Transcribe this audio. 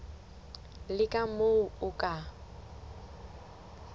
le ka moo o ka